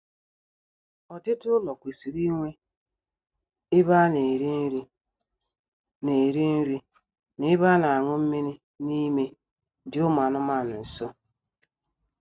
Ọdịdị ụlọ kwesịrị inwe ebe a na-eri nri na-eri nri na ebe a na-añụ mmiri n'ime dị ụmụ anụmaanụ nso